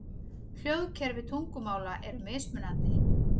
Hljóðkerfi tungumála eru mismunandi.